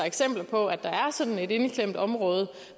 eksempler på at der var sådan et indeklemt område